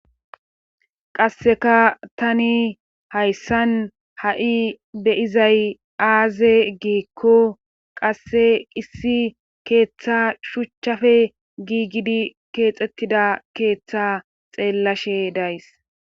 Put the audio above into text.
qasseka tani hayssan ha7i beyizay aaze giikko qasse issi keeththa shuchchafe giigidi keexettida keeththa xeellashe days